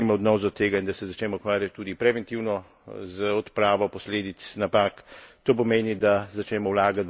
In čas je seveda, da spremenimo odnos do tega in da se začnemo ukvarjati tudi preventivno z odpravo posledic napak.